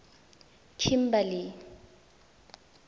kimberley